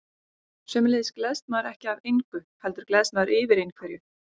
Sömuleiðis gleðst maður ekki af engu, heldur gleðst maður yfir einhverju.